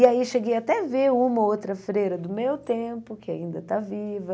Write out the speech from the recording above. E aí cheguei até a ver uma ou outra freira do meu tempo, que ainda está viva,